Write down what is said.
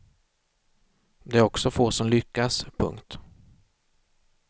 Det är också få som lyckas. punkt